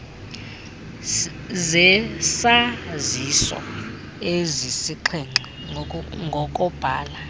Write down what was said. zesaziso ezisixhenxe ngokobhala